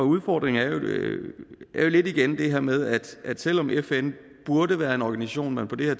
udfordringen er jo igen lidt det her med at selv om fn burde være en organisation man på det